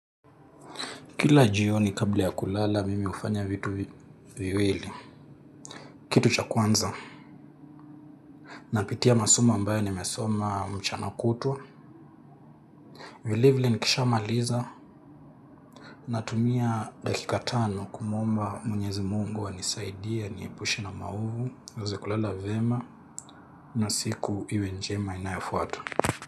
Kila jioni kabla ya kulala, mimi hufanya vitu viwili. Kitu cha kwanza napitia masomo ambayo nimesoma mchana kutwa. Vilevile nikisha maliza. Natumia dakika tano kumuomba mwenyezi mungu anisaidie, aniepushe na maovu. Niweze kulala vyema. Nasiku iwe njema inayofuata.